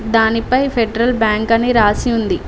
దానిపై ఫెడరల్ బ్యాంక్ అని రాసి ఉంది.